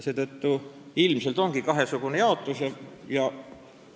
Seetõttu ilmselt ongi valimisringkondade suuruses kahesugune jaotus.